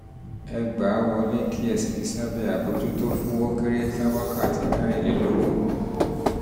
ẹ gbà á um wọlé um kí ẹ sì fi sábẹ́ àbójútó fún ó um kéré tán wákàtí mẹ́rìnlélógún